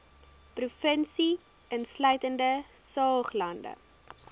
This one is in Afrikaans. provinsie insluitende saoglande